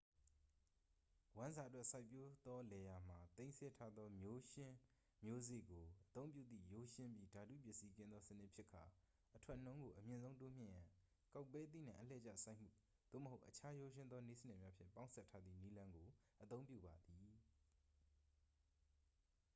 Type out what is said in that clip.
ဝမ်းစာအတွက် စိုက်ပျိုးသော လယ်ယာမှာ သိမ်းဆည်းထားသော မျိုးရှင်းမျိုးစေ့ကို အသုံးပြုသည့် ရိုးရှင်းပြီး ဓာတုပစ္စည်းကင်းသော စနစ်ဖြစ်ကာ အထွက်နှုန်းကို အမြင့်ဆုံးတိုးမြှင့်ရန် ကောက်ပဲသီးနှံ အလှည့်ကျစိုက်မှု သို့မဟုတ် အခြား ရိုးရှင်းသော နည်းစနစ်များဖြင့် ပေါင်းစည်းထားသည့် နည်းလမ်းကို အသုံးပြုပါသည်